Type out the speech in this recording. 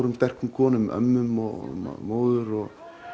sterkum konum ömmum og móður og